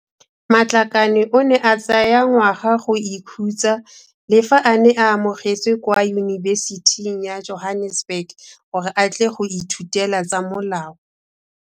Matlakane o ne a tsaya ngwaga go ikhutsa le fa a ne a amogetswe kwa Yunibesithing ya Johannesburg gore a tle go ithutela tsa molao.